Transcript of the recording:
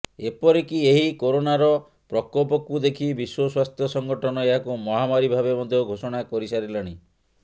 ଏପରିକି ଏହି କୋରୋନାର ପ୍ରକୋପକୁ ଦେଖି ବିଶ୍ୱ ସ୍ୱାସ୍ଥ୍ୟ ସଂଗଠନ ଏହାକୁ ମହାମାରୀ ଭାବେ ମଧ୍ୟ ଘୋଷଣା କରିସାରିଲାଣି